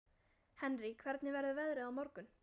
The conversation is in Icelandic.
Henrý, hvernig verður veðrið á morgun?